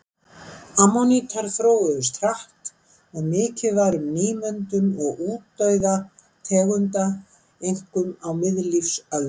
Ammonítar þróuðust hratt og mikið var um nýmyndun og útdauða tegunda, einkum á miðlífsöld.